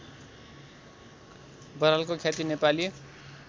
बरालको ख्याति नेपाली